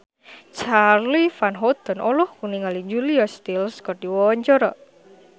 Charly Van Houten olohok ningali Julia Stiles keur diwawancara